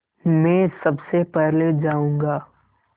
मैं सबसे पहले जाऊँगा